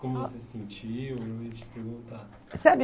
Como você se sentiu, eu ia te perguntar. Sabe